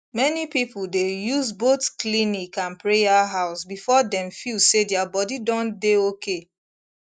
many people dey use both clinic and prayer house before dem feel say their body don dey okay